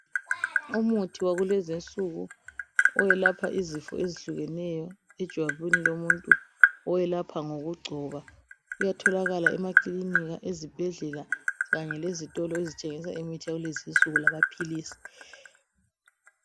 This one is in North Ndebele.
Umuthi wakulezi insuku owelapha izifo ezitshiyeneyo ejwabini lomuntu owelapha ngoku gcoba. Uyatholakala emakilinika, ezibhedlela kanye lezitolo ezithengisa imithi yakulezi insuku lama philisi.